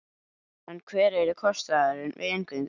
En hver yrði kostnaðurinn við inngöngu?